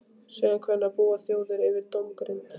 Síðan hvenær búa þjóðir yfir dómgreind?